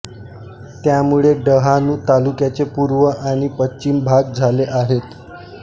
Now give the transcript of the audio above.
त्यामुळे डहाणू तालुक्याचे पूर्व आणि पश्चिम भाग झाले आहेत